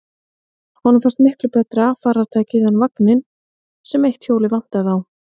Honum fannst hann miklu betra farartæki en vagninn, sem eitt hjólið vantaði á.